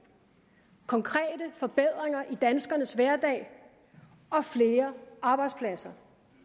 konkrete forbedringer i danskernes hverdag og flere arbejdspladser